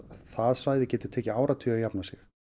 það svæði getur tekið áratugi að jafna sig